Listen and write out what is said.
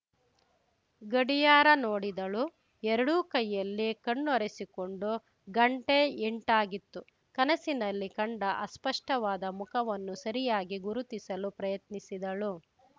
ಗಡಿಯಾರ ನೋಡಿದಳು ಎರಡೂ ಕೈಯ್ಯಲ್ಲಿ ಕಣ್ಣೊರೆಸಿಕೊಂಡು ಗಂಟೆ ಎಂಟಾಗಿತ್ತು ಕನಸಿನಲ್ಲಿ ಕಂಡ ಅಸ್ಪಷ್ಟವಾದ ಮುಖವನ್ನು ಸರಿಯಾಗಿ ಗುರುತಿಸಲು ಪ್ರಯತ್ನಿಸಿದಳು